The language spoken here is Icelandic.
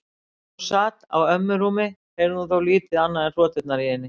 Meðan hún sat á ömmu rúmi heyrði hún þó lítið annað en hroturnar í henni.